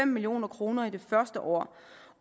million kroner det første år